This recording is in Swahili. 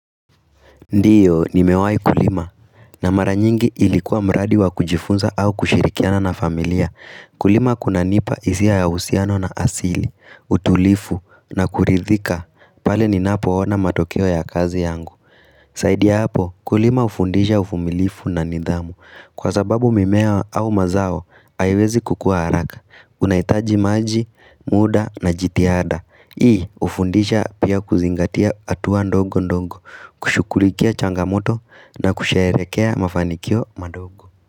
Ndiyo, nimewahi kulima. Na mara nyingi ilikuwa mradi wa kujifunza au kushirikiana na familia. Kulima kunanipa hisia ya uhusiano na asili, utulivu na kuridhika. Pale ninapoona matokeo ya kazi yangu. Zaidi ya hapo kulima hufundisha uvumilivu na nidhamu Kwa sababu mimea au mazao haiwezi kukua haraka unahitaji maji, muda na jitihada Hii hufundisha pia kuzingatia hatua ndogo ndogo kushughulikia changamoto na kusherehekea mafanikio madogo.